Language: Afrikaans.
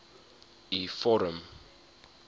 u vorm